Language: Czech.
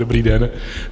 Dobrý den.